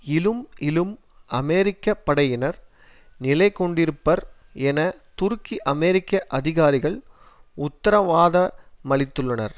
இலும் இலும் அமெரிக்க படையினர் நிலைகொண்டிருப்பர் என துருக்கி அமெரிக்க அதிகாரிகள் உத்தரவாத மளித்துள்ளனர்